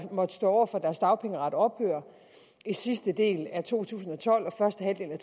måtte stå over for at deres dagpengeret ophører i sidste del af to tusind og tolv og første halvdel af